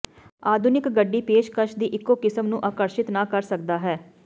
ਆਧੁਨਿਕ ਗੱਡੀ ਪੇਸ਼ਕਸ਼ ਦੀ ਇੱਕੋ ਕਿਸਮ ਨੂੰ ਆਕਰਸ਼ਿਤ ਨਾ ਕਰ ਸਕਦਾ ਹੈ